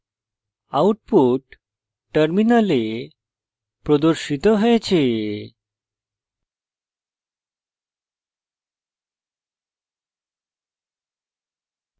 output terminal প্রদর্শিত হয়েছে